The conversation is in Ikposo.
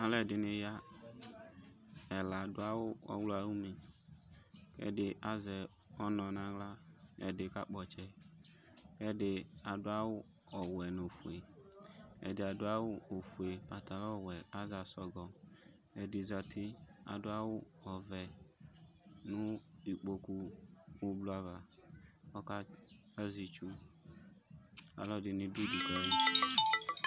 Alʋ ɛdɩnɩ ya; ɛla adʋ awʋ ɔɣlɔawʋne, ɛdɩ azɛ ɔnɔ naɣla ,ɛdɩ ka kpɔ ɔtsɛ, ɛdɩ adʋ awʋ ɔwɛ nofue, ɛdɩ adʋ ofue kʋ adʋ awʋ wɛ kʋ azɛ asɔgɔƐdɩ zati kadʋ awʋ ɔvɛ nʋ ikpoku ʋblʋ ava kɔ azɛ itsu